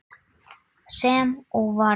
Sem og varð.